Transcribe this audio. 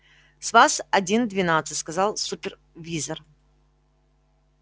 с вас один-двенадцать сказал супервизор